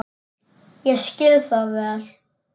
Ég skil það vel.